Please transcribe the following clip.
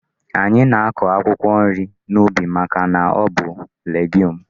Anyị na-akọ akwụkwọ nri n'ubi màkà na ọ bụ legiume.